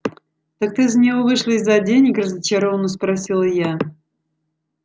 так ты за него вышла из-за денег разочаровано спросила я